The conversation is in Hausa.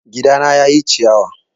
Gidana ya ƴi ciyawa